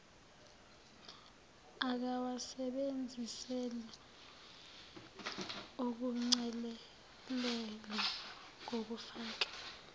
akawasebenzisela ukuchelelela ngokufaka